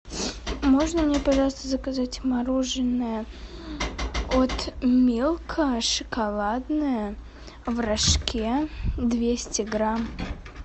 можно мне пожалуйста заказать мороженое от милка шоколадное в рожке двести грамм